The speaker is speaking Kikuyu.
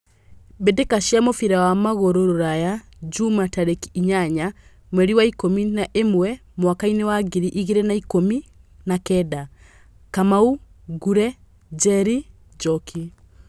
Mbĩtĩka cia mũbira wa magũrũ Ruraya Jumaa tarĩki inyanya mweri wa ikũmi na ĩmwe mwakainĩ wa ngiri igĩrĩ na ikũmi na kenda: Kamau, Ngure, Njeri, Njoki.